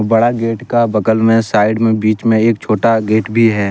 बड़ा गेट का बगल में साइड में बीच में एक छोटा गेट भी है।